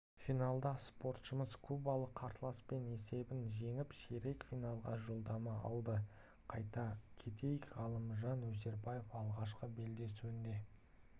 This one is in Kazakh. финалда спортшымыз кубалық қарсыласын есебімен жеңіп ширек финалға жолдама алды айта кетейік ғалымжан өсербаев алғашқы белдесуінде